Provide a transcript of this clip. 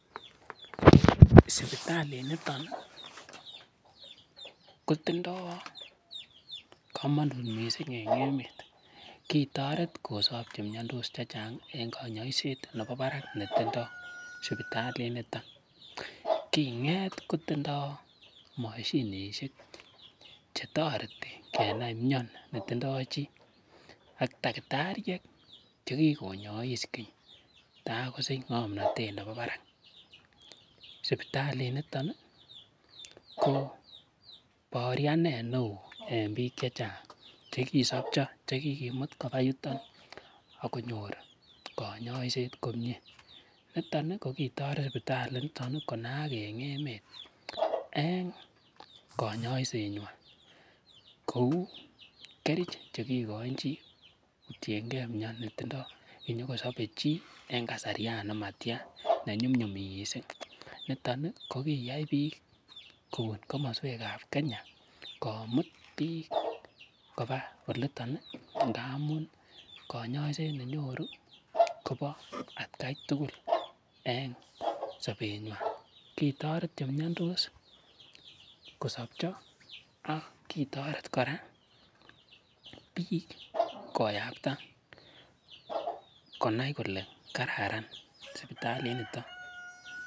Sipitalinito kotindo komonut mising en emet. Kitoret kosob che miondos chechang en konyoiset nebo barak netindoi sipitalinito. Kinget kotindo moshinishek che toreti en mion ne tindo chi ak tagitariek che kigonyois keny tagosich ng'omnatet nemi barak. Sipitalinito ko baoryanet neo en biik che chang che kisopcho, che kigimut koba yuto ak konyor konyoiset komye. Niton kogitoret sipitali inito konaak en emet en konyoisenywan. Kou kerich che kigoin chi kotienge mian netindo chi, konyokosobe chi en kasaryan nematyan nenyumnyum mising. Niton kogiyai biik kobun komoswek ab Kenya komut biik koba oliton ngaun konyoiset nenyoru kobo atkai tugul en sobenywan. Kitoret che miandos kosobcho ak kitoret kora biik koyapta konai kole kararan sipitalinito.